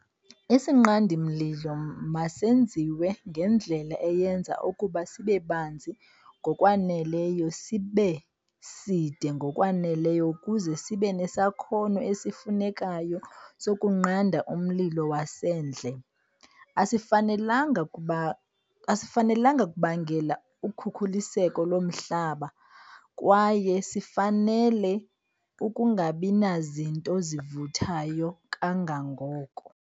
Isinqandi-mlilo masenziwe ngendlela eyenza ukuba sibe banzi ngokwaneleyo sibe side ngokwaneleyo ukuze sibe nesakhono esifunekayo sokunqanda umlilo wasendle. Asifanelanga kubangela ukhukuliseko lomhlaba kwaye sifanele ukungabi nazinto zivuthayo kangangoko.